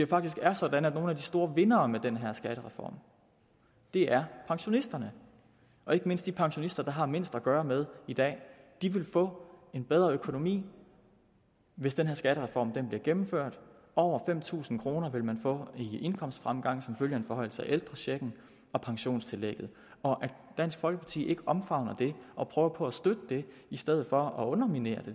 faktisk er sådan at nogle af de store vindere med den her skattereform er pensionisterne og ikke mindst de pensionister der har mindst at gøre godt med i dag de vil få en bedre økonomi hvis den her skattereform bliver gennemført over fem tusind kroner vil man få i indkomstfremgang som følge af en forhøjelse af ældrechecken og pensionstillægget og at dansk folkeparti ikke omfavner det og prøver på at støtte det i stedet for at underminere